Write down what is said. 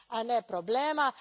a ne problema.